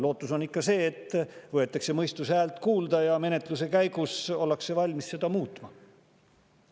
Lootus on ikka see, et võetakse mõistuse häält kuulda ja menetluse käigus ollakse valmis seda muutma.